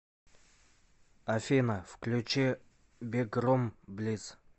афина включи бигрум блиц